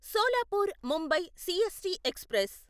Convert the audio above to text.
Solapur Mumbai CST express